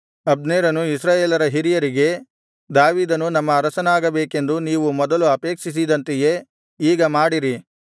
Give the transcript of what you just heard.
ಅಬ್ನೇರನು ಇಸ್ರಾಯೇಲರ ಹಿರಿಯರಿಗೆ ದಾವೀದನು ನಮ್ಮ ಅರಸನಾಗಬೇಕೆಂದು ನೀವು ಮೊದಲು ಅಪೇಕ್ಷಿಸಿದಂತೆಯೇ ಈಗ ಮಾಡಿರಿ